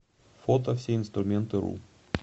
фото всеинструментыру